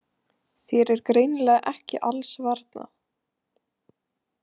Þér er greinilega ekki alls varnað.